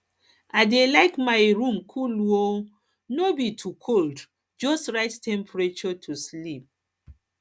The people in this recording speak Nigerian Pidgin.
i dey like make my room cool um no be to cold just right temperature to um sleep